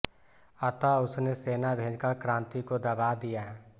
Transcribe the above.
अतः उसने सेना भेजकर क्रांति को दबा दिया